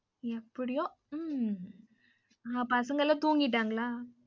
எப்படியோ உம் உங்க பசங்கலாம் தூங்கிட்டன்களா?